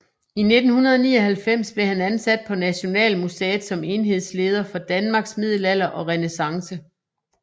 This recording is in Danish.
I 1999 blev han ansat på Nationalmuseet som enhedsleder for Danmarks Middelalder og Renæssance